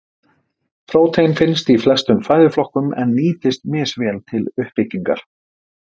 Prótein finnst í flestum fæðuflokkum en nýtist misvel til uppbyggingar.